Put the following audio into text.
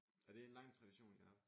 Er det en lang tradition I har haft?